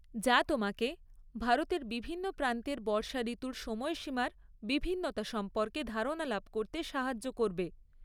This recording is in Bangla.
যা তোমাকে ভারতের বিভিন্ন প্রান্তের বর্ষাঋতুর সময়সীমার বিভিন্নতা সম্পর্কে ধারণা লাভ করতে সাহায্য করবে।